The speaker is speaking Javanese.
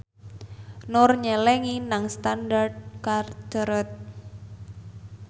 Nur nyelengi nang Standard Chartered